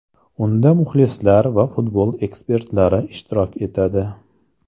Unda muxlislar va futbol ekspertlari ishtirok etadi.